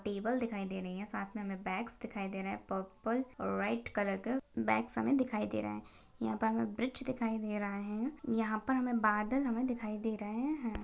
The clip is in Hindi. टेबल दिखाई दे रही है साथ मे हमे बैग्स दिखाई दे रहे है पर्पल और व्हाइट कलर का बैग्स दिखाई दे रहे है यहां पर हमे ब्रिज दिखाई दे रहा है यहां पर हमे बादल हमे दिखाई दे रहे है।